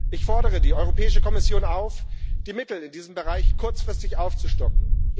Ich fordere die Europäische Kommission auf, die Mittel in diesem Bereich kurzfristig aufzustocken.